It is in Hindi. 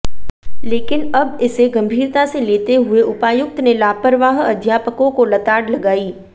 लेकिन अब इसे गंभीरता से लेते हुए उपायुक्त ने लापरवाह अध्यापकों को लताड़ लगाई